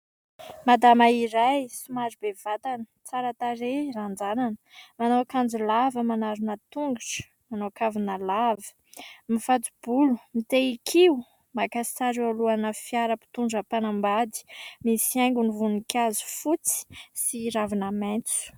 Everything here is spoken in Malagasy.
Madama iray somary be vatana, tsara tarehy, ranjanana, manao akanjo lava manarona tongotra, manao kavina lava, mifato-bolo, mitehin-kio, maka sary eo alohana fiara mpitondra mpanambady. Misy haingony voninkazo fotsy sy ravina maitso.